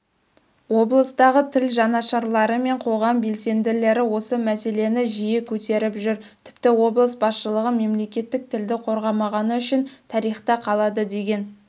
облыстағы тіл жанашырлары мен қоғам белсенділері осы мәселені жиі көтеріп жүр тіпті облыс басшылығы мемлекеттік тілді қорғамағаны үшін тарихта қалады деген